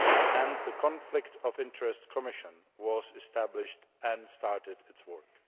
and the Conflict of Interest Commission was established and started its work.